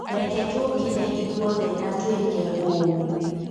Reke tũkĩre ithuothe na tũĩke ũũ.